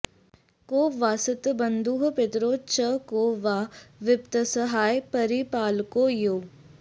को वास्ति बन्धुः पितरौ च कौ वा विपत्सहायः परिपालकौ यौ